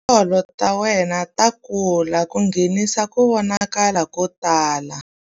Tindzololo ta wena ta kula ku nghenisa ku vonakala ko tala.